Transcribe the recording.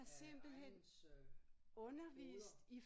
Af egnens øh hoveder